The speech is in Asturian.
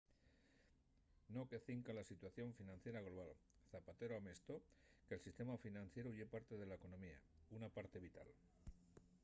no que cinca a la situación financiera global zapatero amestó que el sistema financieru ye parte de la economía una parte vital